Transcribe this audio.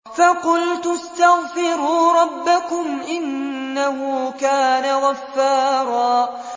فَقُلْتُ اسْتَغْفِرُوا رَبَّكُمْ إِنَّهُ كَانَ غَفَّارًا